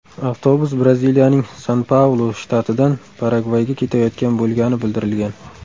Avtobus Braziliyaning San-Paulu shtatidan Paragvayga ketayotgan bo‘lgani bildirilgan.